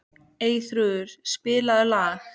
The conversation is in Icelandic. Eyþrúður, spilaðu lag.